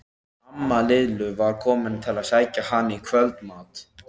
Amma Lillu var komin til að sækja hana í kvöldmat.